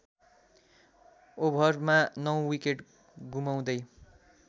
ओभरमा ९ विकेट गुमाउदै